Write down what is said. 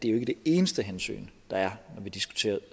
er det eneste hensyn der er når vi diskuterer